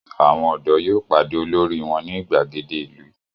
Àwọn ọ̀dọ́ yóò pàdé olórí wọn ní ìgbàgede ìlú.